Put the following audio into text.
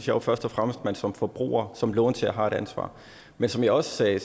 jo først og fremmest at man som forbruger som låntager har et ansvar men som jeg også sagde